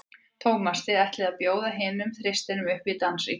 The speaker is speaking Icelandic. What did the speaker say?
Tómas, þið ætlið að bjóða hinum þristinum upp í dans í kvöld?